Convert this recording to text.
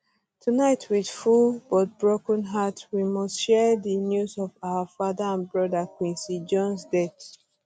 tonight wit full but broken hearts we must share di um news of our father and brother quincy jones um death